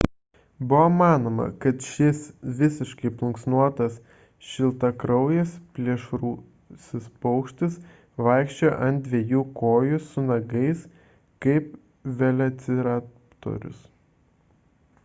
buvo manoma kad šis visiškai plunksnuotas šiltakraujis plėšrusis paukštis vaikščiojo ant dviejų kojų su nagais kaip velociraptorius